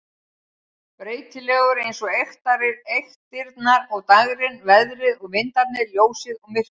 Breytilegur eins og eyktirnar og dægrin, veðrið og vindarnir, ljósið og myrkrið.